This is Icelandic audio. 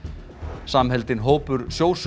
samheldinn hópur